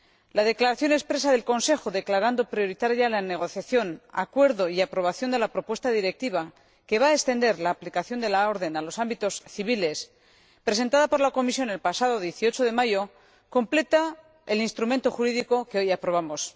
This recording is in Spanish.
La declaración expresa del Consejo por la que declara prioritarios la negociación, el acuerdo y la aprobación de la propuesta de Directiva que va a extender la aplicación de la orden a los ámbitos civiles, presentada por la Comisión el pasado 18 de mayo, completa el instrumento jurídico que hoy aprobamos.